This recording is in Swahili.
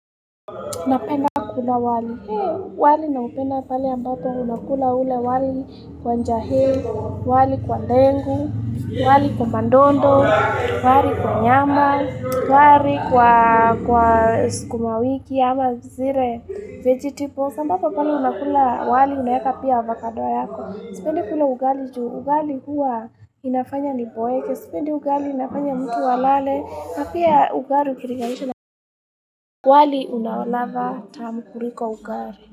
Napenda kula wali, wali naupenda pale ambapo unakula ule wali kwa njahi, wali kwa ndengu, wali kwa madondo, wali kwa nyama, wali kwa sukuma wiki ama zile, vegetables, ambapo kama unakula wali unaweka pia avokado yako. Sipendi kula ugali juu ugali huwa inafanya niboeke Sipendi ugali inafanya mtu alale na pia ugali ukilinganisha wali una ladha tamu kuliko ugali.